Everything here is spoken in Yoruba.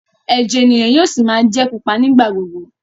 ẹjẹ ènìyàn yóò sí má jé pupa nigba-gbogbo.